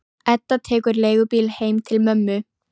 Edda tekur leigubíl heim til mömmu.